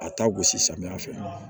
A ta gosi samiya fɛ